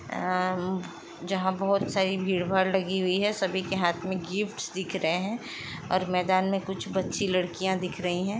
अ म जहाँ बहुत सारी भीड़ - भाड़ लगी हुई है सभी के हाथ में गिफ्ट्स दिख रहे हैं और मैदान में कुछ बच्ची लड़कियाँ दिख रही हैं।